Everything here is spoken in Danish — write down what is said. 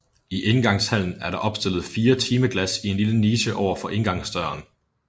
I indgangshallen er der opstillet fire timeglas i en lille niche over for indgangsdøren